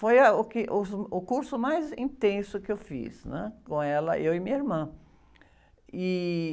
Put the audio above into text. Foi, ah, o que, o curso mais intenso que eu fiz, né? Com ela, eu e minha irmã. E...